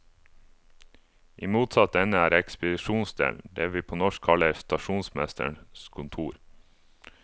I motsatt ende er ekspedisjonsdelen, det vi på norsk kaller stasjonsmesterens kontor.